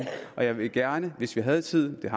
og jeg ville gerne hvis vi havde tiden men